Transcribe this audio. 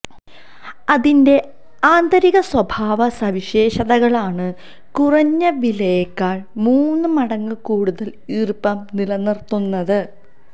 അതിന്റെ ആന്തരിക സ്വഭാവ സവിശേഷതകളാണ് കുറഞ്ഞ വിലയെക്കാൾ മൂന്ന് മടങ്ങ് കൂടുതൽ ഈർപ്പം നിലനിർത്തുന്നത്